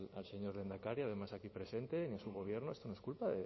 al señor lehendakari además aquí presente ni a su gobierno esto no es culpa